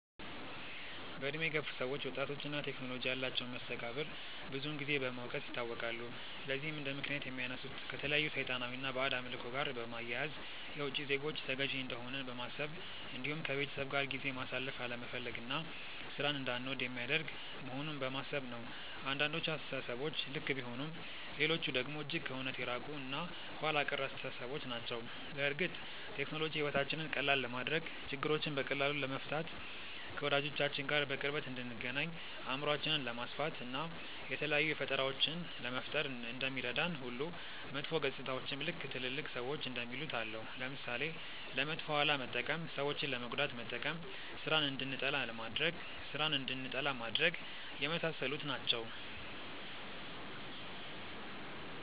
በእድሜ የገፉ ሰዎች ወጣቶች እና ቴክኖሎጂ ያላቸውን መስተጋብር ብዙን ጊዜ በመውቀስ ይታወቃሉ። ለዚህም እንደምክንያት የሚያነሱት ከተለያዩ ሰይጣናዊ እና ባዕድ አምልኮ ጋር በማያያዝ፣ የውቺ ዜጎች ተገዢ እንደሆንን በማሰብ እንዲሁም ከቤተሰብ ጋር ጊዜ ማሳለፍ አለመፈለግ እና ሥራን እንዳንወድ የሚያደርግ መሆኑን በማሰብ ነው። አንዳንዶቹ አስተሳሰቦች ልክ ቢሆኑም ሌሎቹ ደግሞ እጅግ ከእውነት የራቁ እና ኋላ ቀር አስተሳሰቦች ናቸው። በእርግጥ ቴክኖሎጂ ሕይወታችንን ቀላል ለማድረግ፣ ችግሮችን በቀላሉ ለመፍታት፣ ከወዳጆቻችን ጋር በቅርበት እንድንገናኝ፣ አእምሯችንን ለማስፋት፣ እና የተለያዩ ፈጠራዎችን ለመፍጠር እንደሚረዳን ሁሉ መጥፎ ገፅታዎችም ልክ ትልልቅ ሰዎች እንደሚሉት አለው። ለምሳሌ፦ ለመጥፎ አላማ መጠቀም፣ ሰዎችን ለመጉዳት መጠቀም፣ ስራን እንድንጠላ ማድረግ፣ የመሳሰሉት ናቸው።